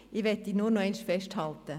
Ich möchte nur noch einmal festhalten: